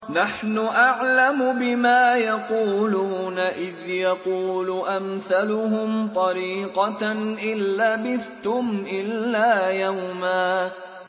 نَّحْنُ أَعْلَمُ بِمَا يَقُولُونَ إِذْ يَقُولُ أَمْثَلُهُمْ طَرِيقَةً إِن لَّبِثْتُمْ إِلَّا يَوْمًا